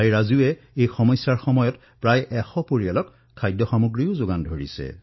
ৰাজুৱে এই কঠিন সময়ছোৱাত প্ৰায় ১০০টা পৰিয়ালৰ বাবে খাদ্যৰো যোগান ধৰিছে